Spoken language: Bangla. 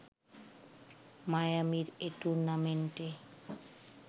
মায়ামির এ টুর্নামেন্টে